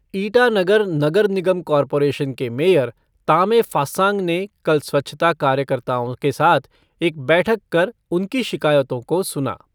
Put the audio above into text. ईटानगर नगर निगम कॉरपोरेशन के मेयर तामे फ़ास्सांग ने कल स्वच्छता कार्यकर्ताओं के साथ एक बैठक कर उनकी शिकायतों को सुना।